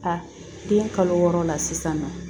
A den kalo wɔɔrɔ la sisan nɔ